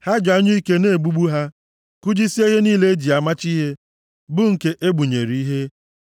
Ha ji anyụike na egbugbu ha kụjisie ihe niile eji amachi ihe bụ nke egbunyere ihe.